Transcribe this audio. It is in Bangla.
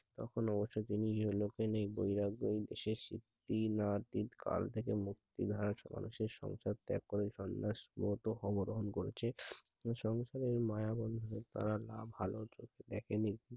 তখন অবশ্য তিনি ইহো লোক এ নেই কাল থেকে মুক্তি রাষ্ মানুষের সংসার ত্যাগ করে সন্ন্যাসের মতো ধর্ম গ্রহণ করেছে। এ সংসারের মায়াবন্ধনে তারা না ভালো চোখে দেখেনি I